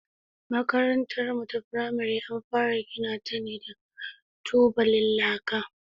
Makarantarmu ta firamare an fara gina ta ne da tubalan laka.